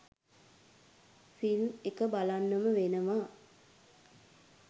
film එක බලන්නම වෙනවා